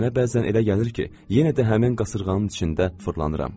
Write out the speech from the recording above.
Mənə bəzən elə gəlir ki, yenə də həmin qasırğanın içində fırlanıram.